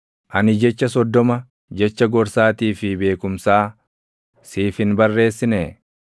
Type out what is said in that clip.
Ani jecha soddoma, jecha gorsaatii fi beekumsaa siif hin barreessinee?